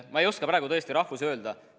Ma ei oska praegu tõesti rahvusi öelda.